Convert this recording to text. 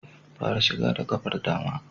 Fara shiga da ƙafar dama